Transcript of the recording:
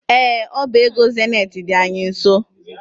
Ee, ọba ego zenet dị anyị nso.